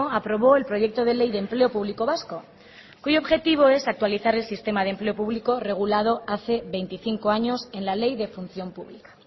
aprobó el proyecto de ley de empleo público vasco cuyo objetivo es actualizar el sistema de empleo público regulado hace veinticinco años en la ley de función pública